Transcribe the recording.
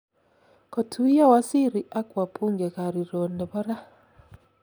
kotuyo waziri ak wabungekariron nepo raa